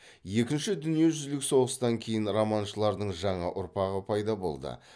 екінші дүниежүзілік соғыстан кейін романшылардың жаңа ұрпағы пайда болды